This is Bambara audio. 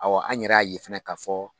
Ɔwɔ an yɛrɛ y'a ye fana k'a fɔ